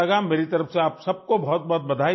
میری طرف سے آپ سب کو بہت بہت مبارک ہو